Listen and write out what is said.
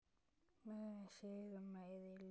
Mörinn sýgur, meiðir, lýgur.